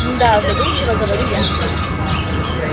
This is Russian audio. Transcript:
мда задумчиво говорю я